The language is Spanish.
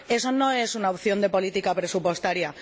Esa no es una opción de política presupuestaria.